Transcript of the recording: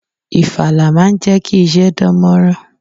Ifala máa ń jẹkí isẹ dánmorán.